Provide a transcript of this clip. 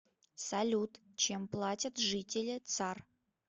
салют чем платят жители цар